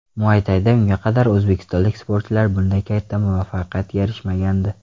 Muaytayda unga qadar o‘zbekistonlik sportchilar bunday katta muvaffaqiyatga erishmagandi.